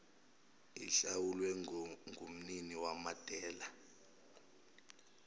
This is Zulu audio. ihlawulwe ngumnini wamadela